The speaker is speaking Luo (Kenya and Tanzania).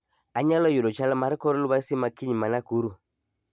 Anyalo yudo chal mar kor lwasi makiny ma nakuru